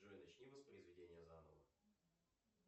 джой начни воспроизведение заново